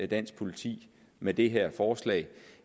dansk politik med det her forslag